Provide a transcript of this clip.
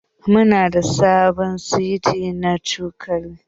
Muna da sabon seti na cokali.